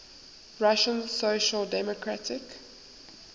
russian social democratic